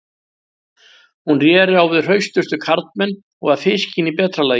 Hún réri á við hraustustu karlmenn og var fiskin í betra lagi.